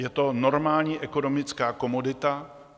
Je to normální ekonomická komodita.